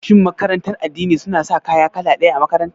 Shin makarantar addini suna sa kaya kala ɗaya a makaranta?